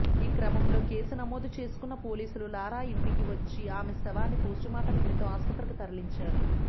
ఈ క్రమంలో కేసు నమోదు చేసుకున్న పోలీసులు లారా ఇంటికి వచ్చి ఆమె శవాన్ని పోస్ట్మార్టం నిమిత్తం ఆస్పత్రికి తరలించారు